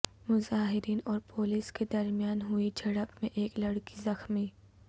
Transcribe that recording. مظاہرین اور پولیس کے درمیان ہوئی جھڑپ میں ایک لڑکی زخمی